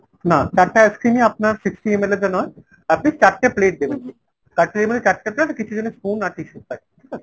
না চারটে ice-cream ই আপনার sixty ML এর আপনি চারটে plate দেবেন, cutlery মানে চারটে plate আর কিছু যেন spoon আর tissue পাই।